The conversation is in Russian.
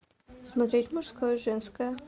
смотреть мужское женское